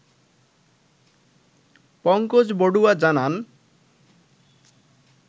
পংকজবড়ুয়া জানান